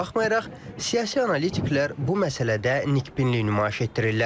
Buna baxmayaraq, siyasi analitiklər bu məsələdə nikbinlik nümayiş etdirirlər.